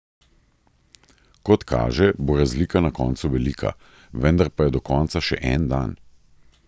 Kot kaže, bo razlika na koncu velika, vendar pa je do konca še en dan ...